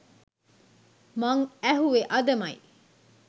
මම ඇහුවෙ අදමයි